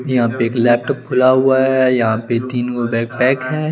यापे एक लिप्ट खुला हुआ है यहा पे तिन पैक है।